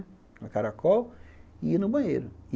Com caracol, e ia no banheiro.